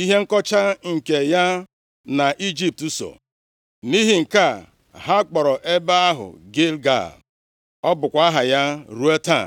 ihe nkọcha nke ya na Ijipt so.” Nʼihi nke a, ha kpọrọ ebe ahụ Gilgal. + 5:9 \+xt Jos 4:9; 9:6\+xt* Ọ bụkwa aha ya ruo taa.